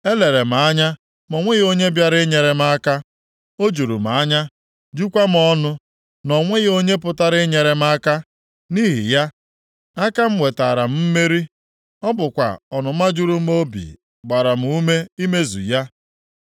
Elere m anya ma o nweghị onye bịara inyere m aka. O juru m anya, jukwa m ọnụ, na o nweghị onye pụtara inyere m aka. Nʼihi ya, aka m wetara m mmeri. Ọ bụkwa ọnụma juru m obi gbara m ume imezu ya.